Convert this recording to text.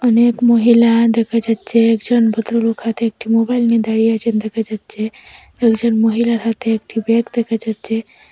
অনেক মহিলা দেখা যাচ্ছে একজন ভদ্র লোক হাতে একটি মোবাইল নিয়ে দাঁড়িয়ে আছেন দেখা যাচ্ছে কয়েকজন মহিলার হাতে একটি ব্যাগ দেখা যাচ্ছে।